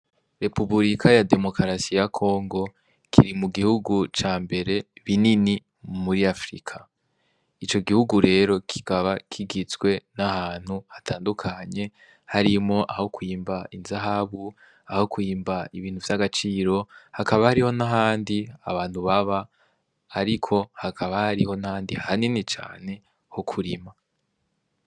Repubulika ya demokarasiya kongo kiri mu gihugu ca mbere binini m muri afrika ico gihugu rero kigaba kigitswe n'ahantu hatandukanye harimo aho kwyimba inzahabu aho kwyimba ibintu vy'agaciro hakaba hariho nahandi abantu baba, ariko hakaba hariho nandi hanini cane ho kurima.